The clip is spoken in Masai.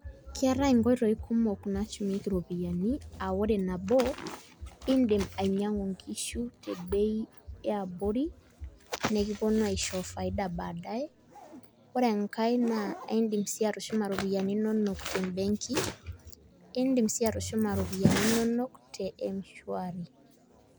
Keetae inkoitoi kumok nashumieki iropiyiani, ah ore nabo, indim ainyang'u inkishu tebei eabori nekiponu aisho faida badaye. Ore enkae naa aidim si atushuma ropiyiani inonok tebenki, idim si atushuma iropiyiani inonok te m-shwari.